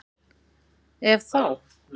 Ef þá?